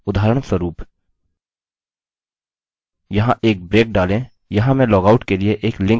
यहाँ एक ब्रेक डालें यहाँ मैं लॉगआउट के लिए एक लिंक बनाऊँगा